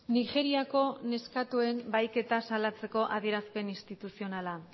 nigeriako neskatoen bahiketa salatzeko adierazpen instituzionala